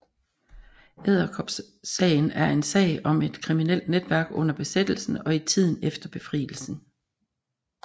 Edderkopsagen er en sag om et kriminelt netværk under besættelsen og i tiden efter befrielsen